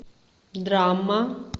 драма